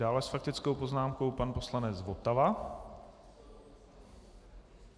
Dále s faktickou poznámkou pan poslanec Votava.